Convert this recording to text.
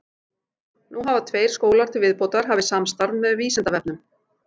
Nú hafa tveir skólar til viðbótar hafið samstarf með Vísindavefnum.